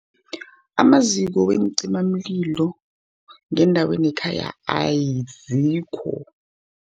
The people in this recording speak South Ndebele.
Amaziko weencimamlilo, ngendaweni yekhaya azikho.